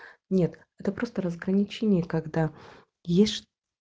нет это просто разграничение когда ешь